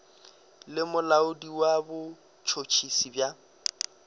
le molaodi wa botšhotšhisi bja